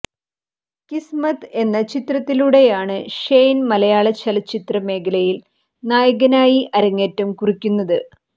കിസ്മത്ത് എന്ന ചിത്രത്തിലൂടെയാണ് ഷെയ്ൻ മലയാള ചലച്ചിത്ര മേഖലയിൽ നായകനായി അരങ്ങേറ്റംകുറിക്കുന്നത്